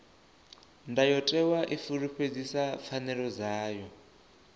ndayotewa i fulufhedzisa pfanelo dzavho